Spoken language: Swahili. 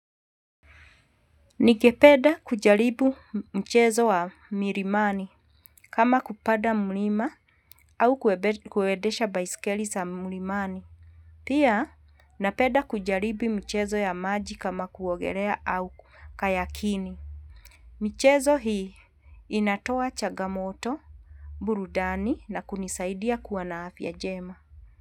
Ningependa kujaribu mchezo wa milimani kama kupada mlima au kuedesha baisikeli za mlimani. Pia napeda kujaribu mchezo ya maji kama kuogelea au kayakini. Michezo hii inatoa changa moto, burudani na kunisaidia kuwa na afya njema.